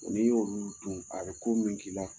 Ni y'olu dun a bɛ ko min k'i la.